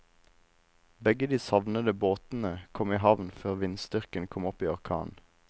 Begge de savnede båtene kom i havn før vindstyrken kom opp i orkan.